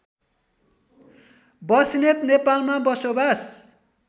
बस्नेत नेपालमा बसोबास